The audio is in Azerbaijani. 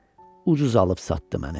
Ucuz alıb satdı məni.